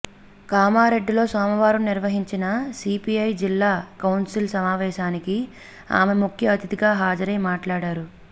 కామారెడ్డిలో సోమవారం నిర్వహించిన సిపిఐ జిల్లా కౌన్సిల్ సమావేశానికి ఆమె ముఖ్య అతిథిగా హాజరై మాట్లాడారు